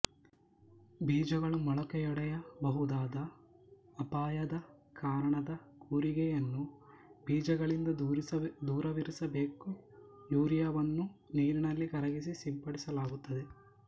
ಬೀಜಗಳು ಮೊಳಕೆಯೊಡೆಯ ಬಹುದಾದ ಅಪಾಯದ ಕಾರಣ ಕೂರಿಗೆಯನ್ನು ಬೀಜಗಳಿಂದ ದೂರವಿರಿಸಬೇಕು ಯೂರಿಯಾವನ್ನು ನೀರಿನಲ್ಲಿ ಕರಗಿಸಿ ಸಿಂಪಡಿಸಲಾಗುತ್ತದೆ